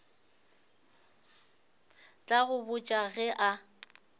tla go botša ge a